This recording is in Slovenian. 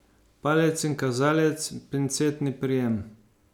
Palec in kazalec, pincetni prijem.